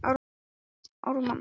Hver er annars meðal ölduhæðin þar?